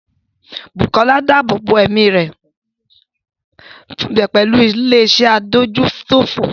Bukola dáàbò bo ẹ̀mí rẹ̀ pẹ̀lú ilé iṣẹ́ adójútòfò.